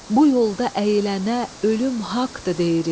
Bu yolda əyilənə ölüm haqqdır deyirik.